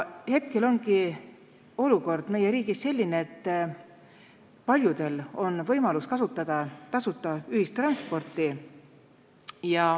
Hetkel ongi olukord meie riigis selline, et paljudel on võimalus kasutada tasuta ühistransporti.